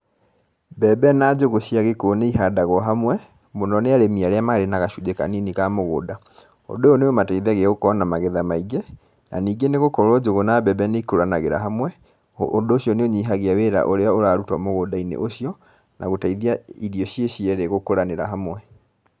Mbembe na njũgũ cia gĩkũyũ nĩ ihandagwo hamwe, mũno nĩ arĩmi arĩa marĩ na gacunjĩ kanini ka mũgũnda, ũndũ ũyũ nĩ ũmateithagia gũkorwo na magetha maingĩ, na ningĩ nĩ gũkorwo njũgũ na mbembe nĩ ikũranagĩra hamwe, ũndũ ũcio nĩ ũnyihagia wĩra ũrĩa ũrarutwo mũgũnda-inĩ ũcio, na gũteithi irio ciĩ cierĩ gũkũranĩra hamwe.